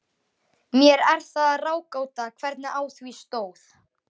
Mér er það ráðgáta, hvernig á því stóð.